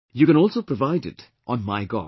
You can also provide it on MyGov